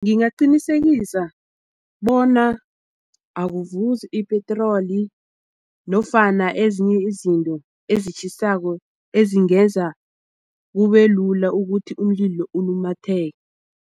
Ngingaqinisekisa bona akuvuzi ipetroli nofana ezinye izinto ezitjhisako ezingenza kubelula ukuthi umlilo ulumatheke.